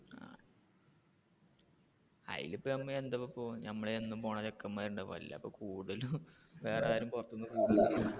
അയിന് ഇപ്പൊ നമ്മൾ എന്നും പോകുന്ന ചെക്കെന്മാര് ഉണ്ടാകും അല്ല ഇപ്പൊ കൂടുതലും വേറെ ആരും പുറത്തു നിന്ന്